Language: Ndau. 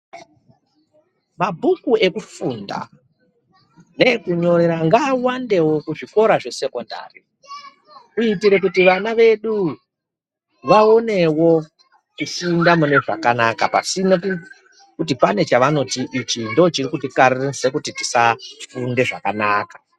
Mabhuku ekufunda neekunyorera ngaawandewo kuzvikora zvekusekondari kuitire kuti vana vedu vaonewo kufunda mune zvakanaka pasina chavanoti ichi ndicho chirikutikaririse kufunda zvakanaka .